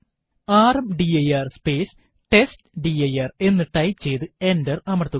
rmdir space test dir എന്ന് type ചെയ്തു enter അമർത്തുക